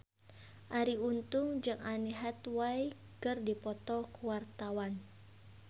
Arie Untung jeung Anne Hathaway keur dipoto ku wartawan